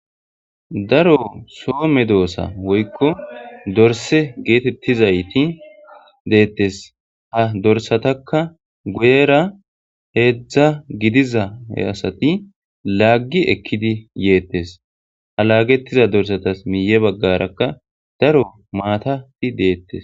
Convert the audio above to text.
Daro soo me doosa woykko dorse geetettizayti deettes ha dorsatakka guyera heedzdza gidiza asati laggi ekkidi yeettes ha laagettiza dorsatas miiye baggarakka daro maatati deettes